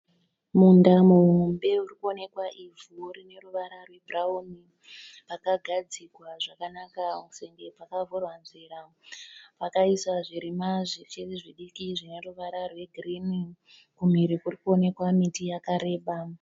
Munda muhombe urikuonekwa ivhu rineruvara rwebhurauni. Pakagadzigwa zvakanaka senge pakavhurwa nzira. Vakaisa zvirimwa zvichiri zvidiki zvineruvara rwegirini. Kumhiri kurikuonekwa miti yakareba.